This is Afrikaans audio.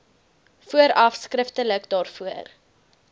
vooraf skriftelik daarvoor